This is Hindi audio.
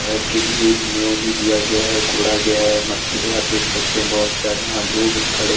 घर के लिए नीव भी दिया गया है कोड़ा गया है मट्टी है आप देख सकते हैं बहोत सारे वहां लोग हैं खड़े--